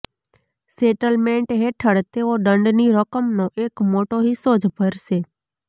settlement હેઠળ તેઓ દંડની રકમનો એક મોટો હિસ્સો જ ભરશે